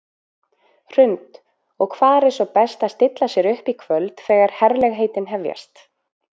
Hrund: Og hvar er svo best að stilla sér upp í kvöld þegar herlegheitin hefjast?